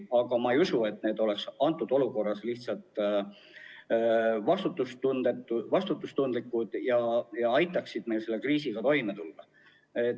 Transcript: Aga ma ei usu, et need oleksid praeguses olukorras vastutustundlikud ja aitaksid meil kriisiga toime tulla.